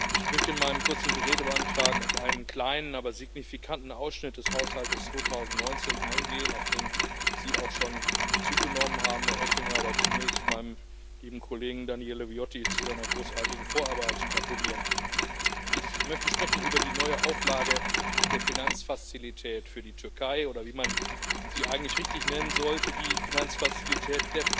Ich möchte in meinem kurzen Redebeitrag auf einen kleinen, aber signifikanten Ausschnitt des Haushalts 2019 eingehen, auf den Sie auch schon Bezug genommen haben, Herr Oettinger, aber zunächst meinem lieben Kollegen Daniele Viotti zu seiner großartigen Vorarbeit gratulieren. Ich möchte sprechen über die neue Auflage der Finanzfazilität für die Türkei oder wie man sie eigentlich richtig nennen sollte, der Finanzfazilität